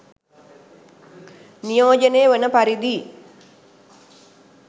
නියෝජනය වන පරිදි